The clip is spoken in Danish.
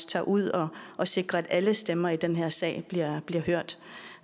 tager ud og og sikrer at alle stemmer i den her sag bliver hørt